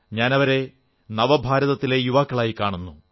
ഞാനവരെ നവഭാരതത്തിലെ യുവാക്കളായി കാണുന്നു